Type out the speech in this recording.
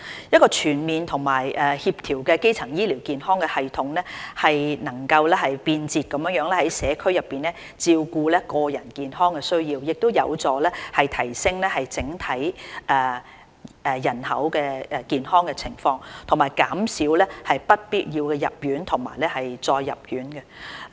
一個全面和協調的基層醫療健康系統，能便捷在社區內照顧個人健康需要，有助提升整體人口健康情況，以及減少不必要的入院及再入院的情況。